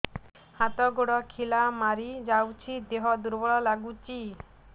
ହାତ ଗୋଡ ଖିଲା ମାରିଯାଉଛି ଦେହ ଦୁର୍ବଳ ଲାଗୁଚି